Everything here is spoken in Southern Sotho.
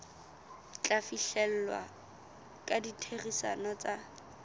tla fihlellwa ka ditherisano tsa